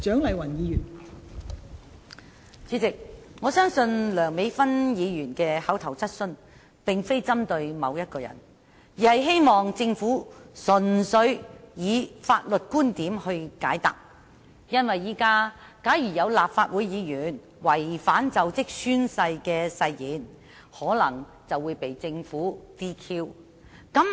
代理主席，我相信梁美芬議員的口頭質詢並非針對某一個人，而是希望政府純粹以法律觀點來解答，因為現時假如有立法會議員違反就職宣誓的誓言，便可能會被政府取消資格。